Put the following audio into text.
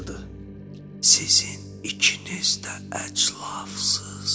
Sizin ikiniz də əclafsız!